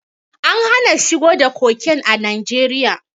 An hana shigo da koken a Najeriya.